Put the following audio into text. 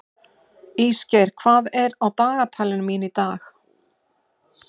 Ísgeir, hvað er á dagatalinu mínu í dag?